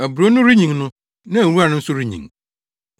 Aburow no renyin no, na nwura no nso renyin.